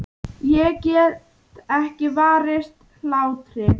Ég get ekki varist hlátri.